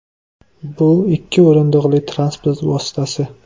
Bu ikki o‘rindiqli transport vositasi.